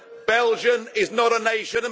Belgium is not a nation.